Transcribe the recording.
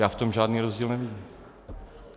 Já v tom žádný rozdíl nevidím.